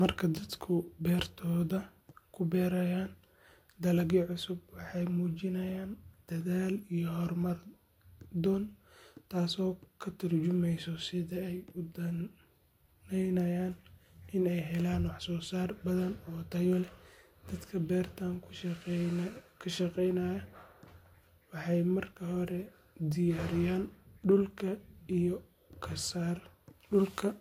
Marka dadku beertooda ku beerayaan dalagyo cusub, waxay muujinayaan dadaal iyo horumar doon, taasoo ka tarjumaysa sida ay u danaynayaan in ay helaan wax-soo-saar badan oo tayo leh. Dadka beertan ku shaqeynaya waxay marka hore diyaariyaan dhulka iyaga